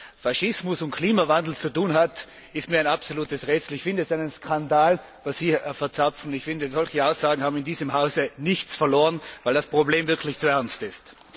Also was Faschismus mit Klimawandel zu tun hat, ist mir ein absolutes Rätsel. Ich finde es ist ein Skandal, was er hier verzapft, und ich finde, solche Aussagen haben in diesem Hause nichts verloren, weil das Problem wirklich zu ernst ist.